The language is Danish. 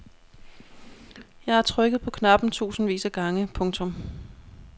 Jeg har trykket på knappen tusindvis af gange. punktum